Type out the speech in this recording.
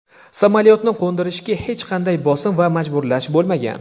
"samolyotni qo‘ndirishga hech qanday bosim va majburlash bo‘lmagan".